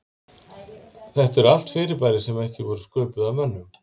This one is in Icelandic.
Þetta eru allt fyrirbæri sem ekki voru sköpuð af mönnum.